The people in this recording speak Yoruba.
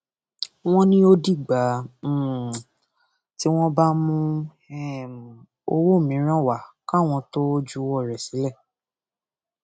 wọn ní ó dìgbà um tí wọn bá mú um owó mìíràn wá káwọn tóo juwọ rẹ sílẹ